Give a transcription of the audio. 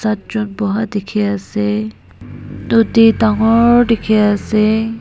at jon boha dikhiase nodi dangor dikhiase.